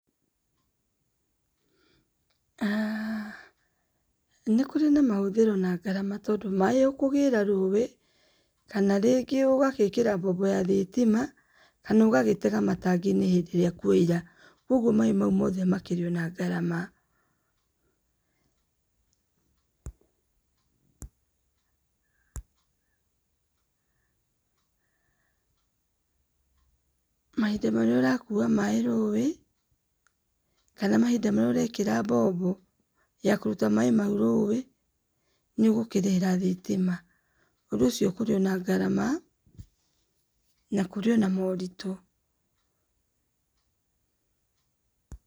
Nĩ kũrĩ na mahũthĩro na ngarama tondũ maaĩ ũkũgĩra rũĩ kana rĩngĩ ũgagĩĩkĩra mbombo ya thitima kana ũgagĩtega matangi-inĩ hĩndĩ ĩrĩa kwaura. Kogwo maĩ mau mothe makĩrĩ na ngarama. Mahinda marĩa ũrakuua maĩ rũĩ, kana mahinda marĩa ũrekĩra mbombo ya kũruta maĩ mau rũĩ, nĩ ũgũkĩrĩhĩra thitima. Ũndũ ũcio kũrĩ ona ngarama, na kũrĩ ona moritũ.